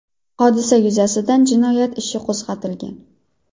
Hodisa yuzasidan jinoyat ishi qo‘zg‘atilgan .